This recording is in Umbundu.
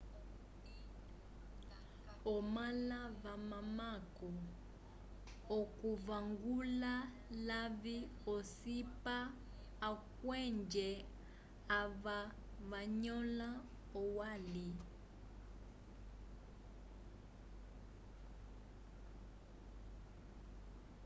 omala vamamako okuvangula lavi ocipa akwenje ava vanyola olwali